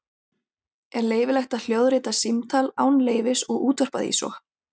Er leyfilegt að hljóðrita símtal án leyfis og útvarpa því svo?